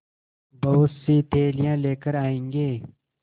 बहुतसी थैलियाँ लेकर आएँगे